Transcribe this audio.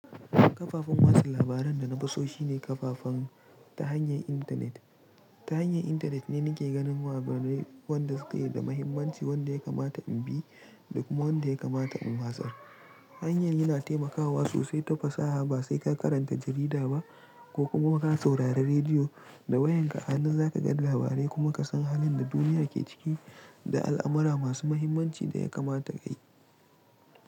Kafafan watsa labaran da na fi so shine kafafen ta hanyar intanet. Ta hanyar intanet ne nake ganin labarai wanda suke da mahimmanci, wanda ya kamata in bi da kuma wanda ya kamata in watsar. Hanyan yana taimakawa sosai ta fasaha ba sai ka karanta jarida ba ko kuma ka saurari rediyo da wayanka a nan za ka ga labarai kuma ka san halin da duniya ke ciki da al'amura masu mahimmanci da ya kamata ka yi.